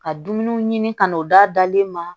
Ka dumuniw ɲini ka n'o d'a dalen ma